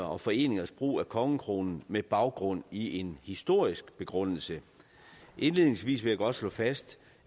og foreningers brug af kongekronen med baggrund i en historisk begrundelse indledningsvis vil jeg godt slå fast